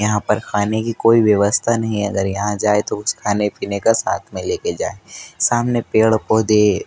यहाँ पर खाने की कोई व्यवस्था नहीं हैं अगर यहाँ जाए तो उस खाने पीने का साथ में लेके जाए सामने पेड़ पौधे--